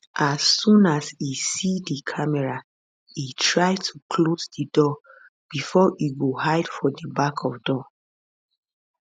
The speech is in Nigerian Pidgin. as soon as e see di camera e try to close di door bifor e go hide for di back of door